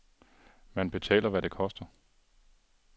Man betaler, hvad det koster.